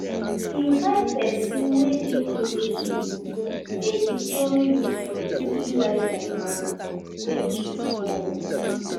invite persin wey de close to you make e join you for di freestyle may wey to bond